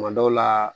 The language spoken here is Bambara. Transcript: Kuma dɔw la